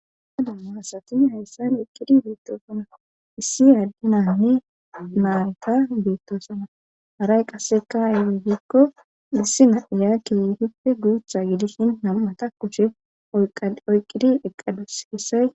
Aha namma hasati hayssan oyqqidi beettoosona issi aaddinanne maayeta beettoosana haray qasseka aywegiikko dhissi na'iya keeyitippe guutha gidishin nam'ata kucshe oyqqidi eqqados hessay.